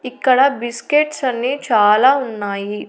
ఇక్కడ బిస్కెట్స్ అన్ని చాలా ఉన్నాయి.